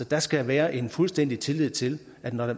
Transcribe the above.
der skal være en fuldstændig tillid til at når